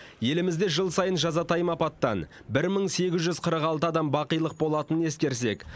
елімізде жыл сайын жазатайым апаттан бір мың сегіз жүз қырық алты адам бақилық болатынын ескерсек